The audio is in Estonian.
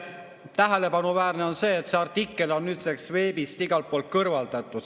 Tähelepanuväärne on see, et see artikkel on nüüdseks veebist igalt poolt kõrvaldatud.